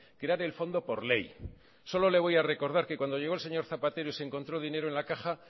crear el fondo por ley solo le voy a recordar que cuando llegó el señor zapatero y se encontró dinero en la caja